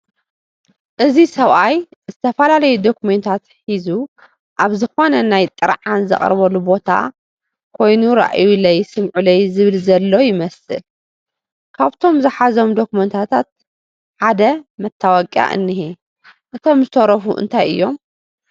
እዚ ሰብኣይ ዝተፈላለዩ ዶኩሜንታት ሓዙ ኣብዝ ኾነ ናይ ጥርዓን ዘቕርበሉ ቦታ ኾይኑ ራዩለይ ስም'ዑለይ ዝብል ዘሎ ይመስል፡ ካብቶም ዝሓዞም ዶኩሜንታት ሓደ መታወቕያ እንሄ ፡ እቶም ዝተረሩ እንታይ እዮም